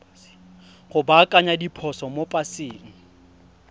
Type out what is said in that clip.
go baakanya diphoso mo paseng